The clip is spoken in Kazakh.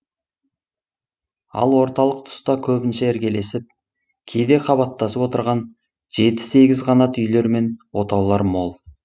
ал орталық тұста көбінше іргелесіп кейде қабаттасып отырған жеті сегіз қанат үйлер мен отаулар мол